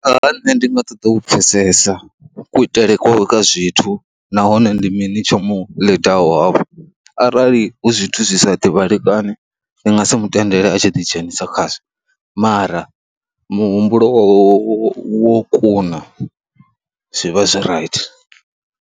A vha nṋe ndi nga ṱoḓa u pfhesesa kuitele kwawe kwa zwithu nahone ndi mini tsho mu ḽidaho afho arali hu zwithu zwi sa ḓivhalekani ndi nga si mu tendele a tshi ḓi dzhenisa khazwo mara muhumbulo wawe wo wo kuna zwi vha zwi right.